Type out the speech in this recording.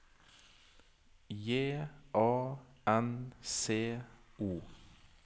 J A N C O